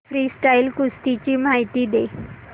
freestyle कुस्ती ची माहिती दे